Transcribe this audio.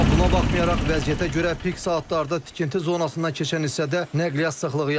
Amma buna baxmayaraq, vəziyyətə görə pik saatlarda tikinti zonasından keçən hissədə nəqliyyat sıxlığı yaşanır.